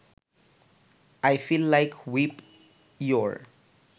I feel like whip your